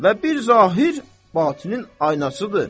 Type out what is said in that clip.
Və bir zahir batınin aynasıdır.